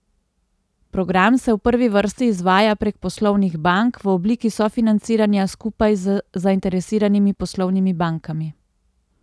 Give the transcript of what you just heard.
Program se v prvi vrsti izvaja prek poslovnih bank, v obliki sofinanciranja skupaj z zainteresiranimi poslovnimi bankami.